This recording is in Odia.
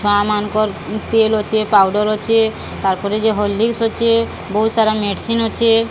ମା ମାନଙ୍କର ତେଲ୍ ଅଛି ପାଉଡର ଅଛି ତାପରେଜେ ହର୍ଲିକ୍ସି ବୋହୁ ସାରା ମେଡ଼ିସିନ୍ ଅଛି।